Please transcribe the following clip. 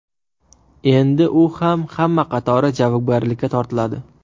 Endi u ham hamma qatori javobgarlikka tortiladi.